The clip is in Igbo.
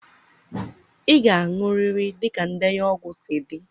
ị ga-aṅụrịrị dịka ndenye ọgwụ si dị.